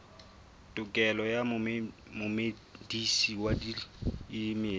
tokelo ya momedisi wa dimela